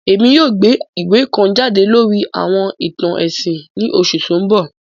Èmi yoo gbé ìwé kan jade lórí àwọn ìtàn ẹ̀sìn ni oṣù to n bọ